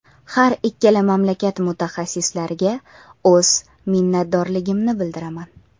Har ikkala mamlakat mutaxassislariga o‘z minnatdorligimni bildiraman.